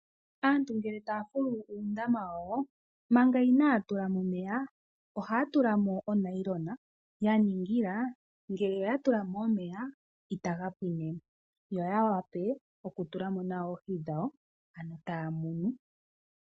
Aantu ngele taya fulu uundama wawo manga inaaya tula mo omeya ohaya tula mo onayilona ya ningila ngele oya tula mo omeya itaga pwine mo yo ya vule okutula mo nawa oohi dhawo ano taya munu.